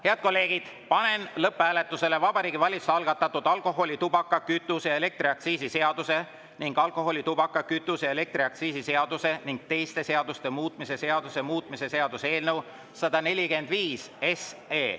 Head kolleegid, panen lõpphääletusele Vabariigi Valitsuse algatatud alkoholi‑, tubaka‑, kütuse‑ ja elektriaktsiisi seaduse ning alkoholi‑, tubaka‑, kütuse‑ ja elektriaktsiisi seaduse ning teiste seaduste muutmise seaduse muutmise seaduse eelnõu 145.